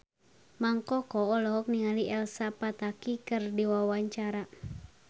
Mang Koko olohok ningali Elsa Pataky keur diwawancara